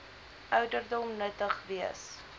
ouderdom nuttig wees